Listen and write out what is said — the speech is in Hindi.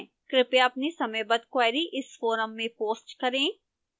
कृपया अपनी समयबद्ध queries इस forum में post करें